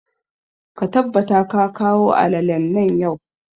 Ka tabbata ka kawo alalalen nan yau!